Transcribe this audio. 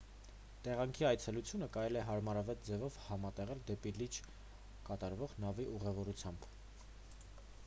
տեղանքի այցելությունը կարելի է հարմարավետ ձևով համատեղել դեպի լիճ կատարվող նավի ուղևորությամբ